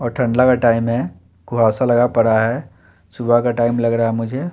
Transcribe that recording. और ठंडिया का टाइम है कुआ सा लगा पड़ा है सुबह का टाइम लग रहा मुझे।